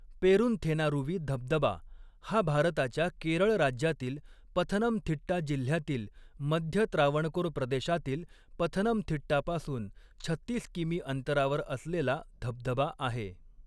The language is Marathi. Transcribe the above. पेरुंथेनारुवी धबधबा हा भारताच्या केरळ राज्यातील पथनमथिट्टा जिल्ह्यातील मध्य त्रावणकोर प्रदेशातील पथनमथिट्टापासून छत्तीस किमी अंतरावर असलेला धबधबा आहे.